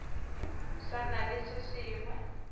sa na le se sengwe